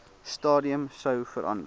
stadium sou verander